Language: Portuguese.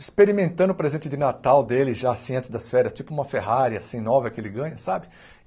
experimentando o presente de Natal dele, já assim, antes das férias, tipo uma Ferrari assim, nova que ele ganha, sabe?